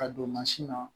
Ka don mansin na